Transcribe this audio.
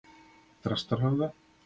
Þrastarhöfða